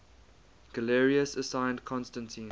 galerius assigned constantine